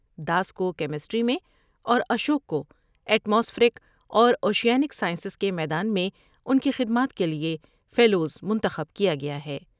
داس کو کیمسٹری میں اور اشوک کو ایٹ ماسفیرک اور اوشیا نک سائنس کے میدان میں ان کی خدمات کے لیے فیلو منتخب کیا گیا ہے ۔